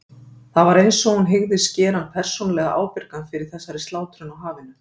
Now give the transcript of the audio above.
Það var einsog hún hygðist gera hann persónulega ábyrgan fyrir þessari slátrun á hafinu.